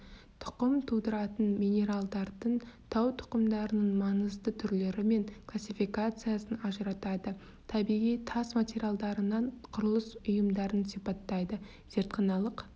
тұқым тудыратын минералдардың тау тұқымдарының маңызды түрлері мен классификациясын ажыратады табиғи тас материалдарынан құрылыс ұйымдарын сипаттайды зертханалық